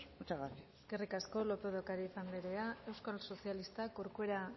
muchas gracias eskerrik asko lópez de ocariz anderea euskal sozialistak corcuera